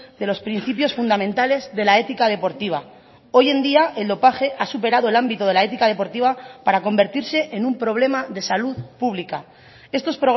de los principios fundamentales de la ética deportiva hoy en día el dopaje ha superado el ámbito de la ética deportiva para convertirse en un problema de salud pública estos